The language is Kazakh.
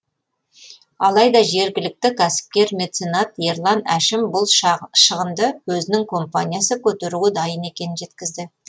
алайда жергілікті кәсіпкер меценат ерлан әшім бұл шығынды өзінің компаниясы көтеруге дайын екенін жеткізді